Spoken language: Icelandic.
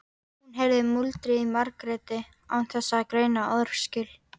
Hún heyrði muldrið í Margréti án þess að greina orðaskil.